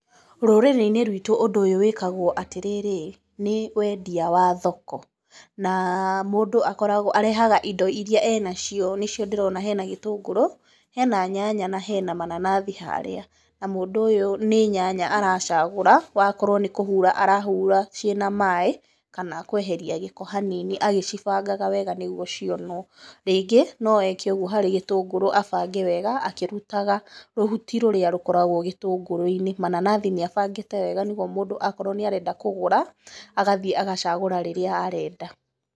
Rũrĩrĩ-inĩ rwitũ ũndũ ũyũ wĩkagwo atĩ rĩrĩ, nĩ wendia wa thoko, na mũndũ arehaga indo iria ena cio, nĩ cio ndĩrona hena gĩtũngũrũ, hena nyanya, na hena mananathi haarĩa. Na mũndũ ũyũ nĩ nyanya aracagũra, wakorwo nĩ kũhura arahura ciĩna maaĩ kana kũeheria gĩkoo hanini agĩcibangaga wega nĩ guo cionwa, rĩngĩ no eke ũguo harĩ gĩtũngũrũ abange wega akĩrutaga rũhuti rũrĩa rũkoragwo gĩtũngũrũ-inĩ, mananathi nĩ abangĩte wega okorwo mũndũ nĩ arenda kũgũra agathiĩ agacagũra rĩrĩa arenda.